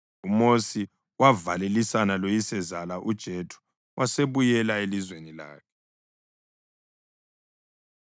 UMosi wavalelisana loyisezala, uJethro wasebuyela elizweni lakhe.